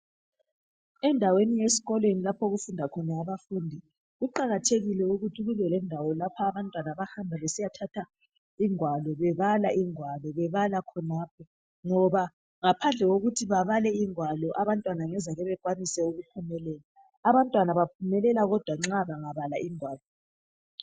Endaweni yesikolweni lapho okufunda khona abafundi, kuqakathekile ukuthi kube lendawo lapho abantwana abahamba khona besiyathatha ingwalo bebala ingwalo bebala khonapho, ngoba ngaphandle kokuthi babale ingwalo abantwana angazake bakwanise ukuphumelela, abantwana baphumelela kodwa nxa bengabala ingwalo.